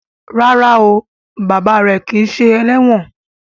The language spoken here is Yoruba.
Ràrá o bàbá rẹ kí ṣe eléwòn.